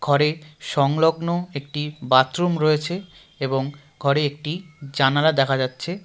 ঘরে সংলগ্ন একটি বাথরুম রয়েছে এবং ঘরে একটি জানলা দেখা যাচ্ছে.